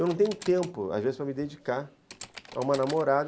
Eu não tenho tempo, às vezes, para me dedicar a uma namorada.